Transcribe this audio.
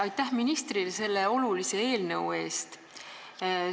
Aitäh ministrile selle olulise eelnõu eest!